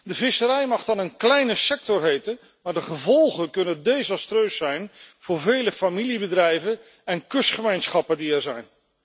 De visserij mag dan een kleine sector heten, maar de gevolgen kunnen desastreus zijn voor vele familiebedrijven en kustgemeenschappen die er zijn.